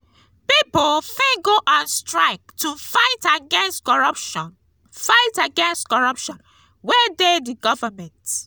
pipo fit go on strike to fight against corruption fight against corruption wey de di government